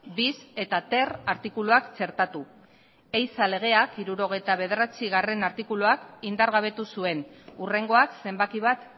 bis eta ter artikuluak txertatu ehiza legea hirurogeita bederatzigarrena artikuluak indargabetu zuen hurrengoak zenbaki bat